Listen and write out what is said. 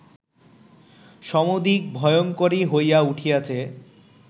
সমধিক ভয়ঙ্করী হইয়া উঠিয়াছে